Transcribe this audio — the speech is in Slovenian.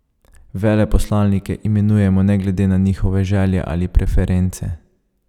Veleposlanike imenujejo ne glede na njihove želje ali preference.